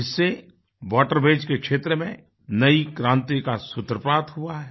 इससे वाटरवेज के क्षेत्र में नयी क्रांति का सूत्रपात हुआ है